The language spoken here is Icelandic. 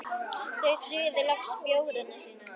Þau suðu loks bjórana sína.